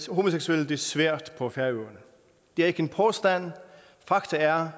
homoseksuelle det svært på færøerne det er ikke en påstand faktum er